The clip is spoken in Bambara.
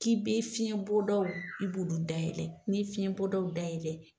K'i bɛ fiɲɛbɔdaw k'i b'olu dayɛlɛ, n'i ye fiɲɛbɔdaw dayɛlɛla